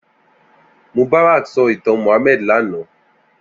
Mubarak sò itàn Muhammad làná